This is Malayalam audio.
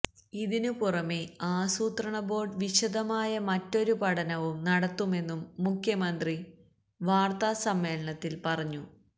ഇതിനു പുറമേ ആസൂത്രണ ബോര്ഡ് വിശദമായ മറ്റൊരു പഠനവും നടത്തുമെന്നും മുഖ്യമന്ത്രി വാര്ത്ത സമ്മേളനത്തില് പറഞ്ഞു